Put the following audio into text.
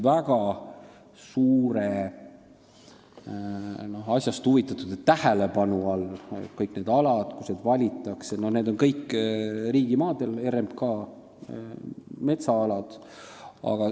Asjast huvitatute väga suure tähelepanu all olid kõik need alad, kus neid kaitsealasid valitakse, need kõik on riigimaad, RMK metsaalad.